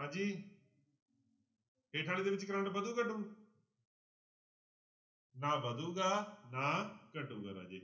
ਹਾਂਜੀ ਹੇਠਾਂ ਵਾਲੀ ਦੇ ਵਿੱਚ ਕਰੰਟ ਵਧੂ ਘਟੂ ਨਾ ਵਧੇਗਾ ਨਾ ਘਟੇਗਾ ਰਾਜੇ